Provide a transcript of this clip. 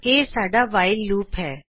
ਇਹ ਸਾਡਾ while loop ਹੈ